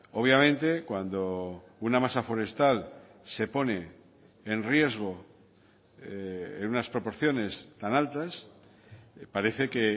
obviamente cuando una masa forestal se pone en riesgo en unas proporciones tan altas parece que